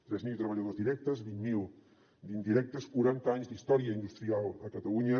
tres mil treballadors directes vint mil d’indirectes quaranta anys d’història industrial a catalunya